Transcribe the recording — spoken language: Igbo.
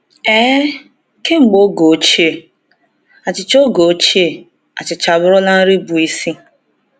Ee, kemgbe oge ochie, achịcha oge ochie, achịcha abụrụla nri bụ isi.